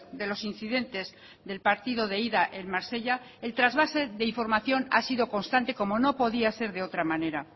de los incidentes del partido de ida en marsella el trasvase de información ha sido constante como no podía ser de otra manera